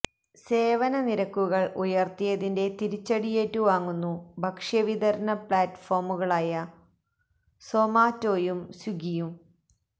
സേവന നിരക്കുകള് ഉയര്ത്തിയതിന്റെ തിരിച്ചടിയേറ്റു വാങ്ങുന്നു ഭക്ഷ്യ വിതരണ പ്ലാറ്റ്ഫോമുകളായ സൊമാറ്റോയും സ്വിഗ്ഗിയും